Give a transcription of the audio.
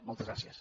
moltes gràcies